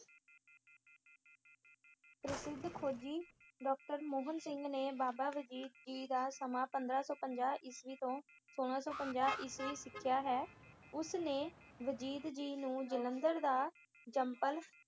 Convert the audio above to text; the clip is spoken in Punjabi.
ਪ੍ਰਸਿੱਧ ਖੋਜੀ ਡਾਕਟਰ ਮੋਹਨ ਸਿੰਘ ਨੇ ਬਾਬਾ ਵਜੀਦ ਜੀ ਦਾ ਸਮਾਂ ਪੰਦਰਾਂ ਸੌ ਪੰਜਾਹ ਈਸਵੀ ਤੋਂ ਸੌਲਾਂ ਸੌ ਪੰਜਾਹ ਈਸਵੀ ਮਿਥਿਆ ਹੈ। ਉਸ ਨੇ ਵਜੀਦ ਜੀ ਨੂੰ ਜਲੰਧਰ ਦਾ ਜੰਮਪਲ